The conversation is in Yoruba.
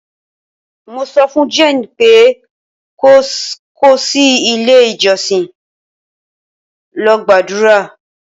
mo sofun jane pe ko ko si ile ijosin lol gbadura